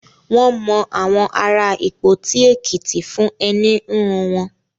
Wọ́n mọ àwọn ará Ìpoti Èkìtì fún ẹní híhun wọn.